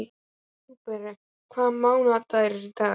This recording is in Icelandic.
Hugberg, hvaða mánaðardagur er í dag?